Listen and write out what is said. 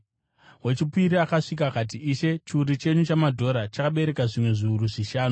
“Wechipiri akasvika akati, ‘Ishe, chiuru chenyu chamadhora chakabereka zvimwe zviuru zvishanu.’